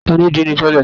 Tani díì nì tẹ́lẹ̀?